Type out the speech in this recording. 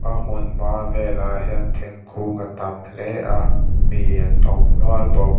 a hmun hma velah hian thingkung a tam hle a mi an awm nual bawk.